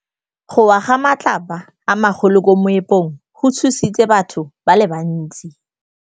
Go wa ga matlapa a magolo ko moepong go tshositse batho ba le bantsi.